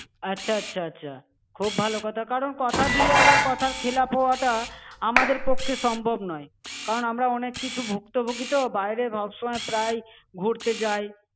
আচ্ছা আচ্ছা আচ্ছা। খুব ভালো কথা, কারণ কথা দিয়ে আবার কথার খেলাপ হওয়াটা আমাদের পক্ষে সম্ভব নয়। কারণ আমরা অনেক কিছু ভুক্তভুগি তো, বাইরে সবসময় প্রায়ই ঘুরতে যাই।